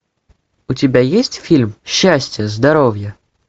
у тебя есть фильм счастье здоровье